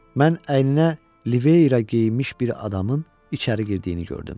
Mən əyninə liveyra geyinmiş bir adamın içəri girdiyini gördüm.